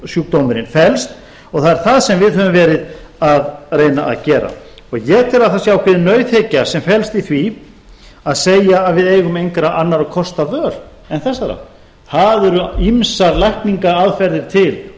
sjúkdómurinn felst og það er það sem við höfum verið að reyna að gera ég tel að það sé ákveðin nauðhyggja sem felst í því að segja að við eigum engra annarra kosta völ en þessara það eru ýmsar lækningaaðferðir til